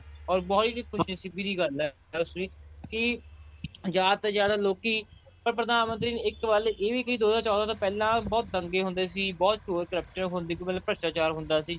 or ਬਹੁਤ ਹੀ ਖ਼ੁਸ਼ੀ ਸੀ ਸਿੱਧੀ ਜੀ ਗੱਲ ਐ ਕਿ ਜਿਆਦਾ ਤੋਂ ਜਿਆਦਾ ਲੋਕੀ ਪ੍ਰਧਾਨਮੰਤਰੀ ਇੱਕ ਗੱਲ ਇਹ ਵੀ ਕੀ ਦੋ ਹਜ਼ਾਰ ਚੋਦਾਂ ਤੋਂ ਪਹਿਲਾਂ ਬਹੁਤ ਦੰਗੇ ਹੁੰਦੇ ਸੀ ਬਹੁਤ ਚੋਰ corrupt ਹੁੰਦੇ ਸੀ ਮਤਲਬ ਭ੍ਰਿਸਟਾਚਾਰ ਹੁੰਦਾ ਸੀ